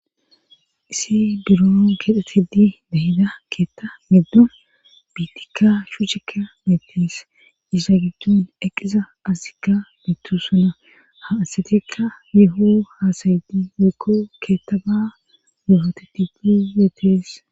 isi biroon keexetidi diya keetta beddu biitikka shucekka beettees issa giddun eqiza azikka biittu suna ha asaytikka meehu haasayiti meekko keetta ba gufateti biyetes